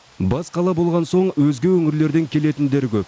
бас қала болған соң өзге өңірлерден келетіндер көп